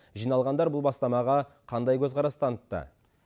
жиналғандар бұл бастамаға қандай көзқарас танытты